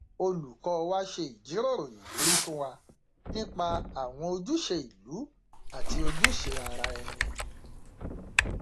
olùkọ wa ṣe ìjíròrò ìwúrí fún wa nípa àwọn ojúṣe ìlú àti ojúṣe ara ẹni